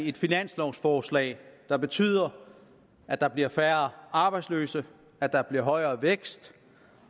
et finanslovforslag der betyder at der bliver færre arbejdsløse at der bliver højere vækst